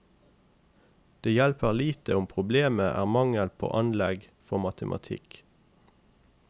Men det hjelper lite om problemet er mangel på anlegg for matematikk.